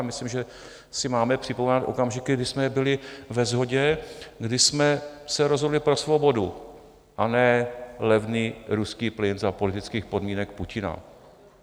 A myslím, že si máme připomínat okamžiky, kdy jsme byli ve shodě, kdy jsme se rozhodli pro svobodu, a ne levný ruský plyn za politických podmínek Putina.